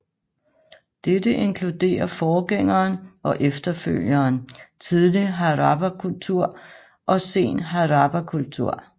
Dette inkluderer forgængeren og efterfølgeren Tidlig Harappakultur og Sen Harappakultur